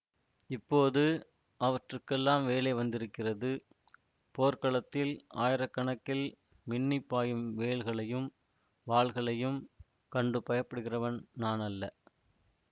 இப்போது அவற்றுக்கெல்லாம் வேலை வந்திருக்கிறது போர்க்களத்தில் ஆயிர கணக்கில் மின்னிப் பாயும் வேல்களையும் வாள்களையும் கண்டு பயப்படுகிறவன் நான் அல்ல